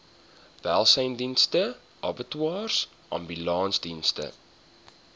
welsynsdienste abattoirs ambulansdienste